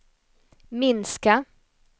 minska